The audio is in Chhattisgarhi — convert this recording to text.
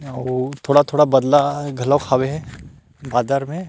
आऊ थोड़ा-थोड़ा बदला घलो हावे बादर में--